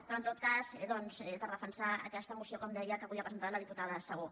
però en tot cas per defensar aquesta moció com deia que avui ha presentat la diputada segú